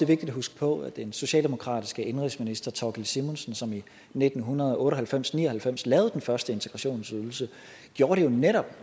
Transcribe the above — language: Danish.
vigtigt at huske på at den socialdemokratiske indenrigsminister thorkild simonsen som i nitten otte og halvfems til ni og halvfems lavede den første integrationsydelse netop